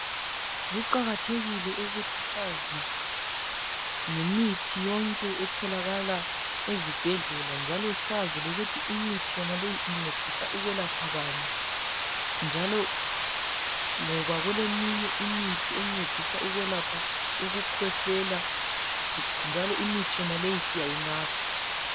Kuqakathekile ukuthi sazi ngemithi yonke etholakala ezibhedlela njalo sazi lokuthi imithi yonaleyi incedisa ukwelapha bani njalo ngoba kuleminye imithi encedisa ukwelapha ukukhwehlela njalo imithi yonaleyi siyayinatha.